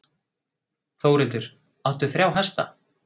Þórhildur: Áttu þrjá hesta?